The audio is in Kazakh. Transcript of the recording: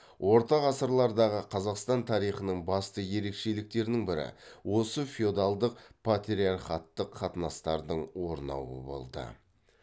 орта ғасырлардағы қазақстан тарихының басты ерекшеліктерінің бірі осы феодалдық патриархаттық қатынастардың орнауы болды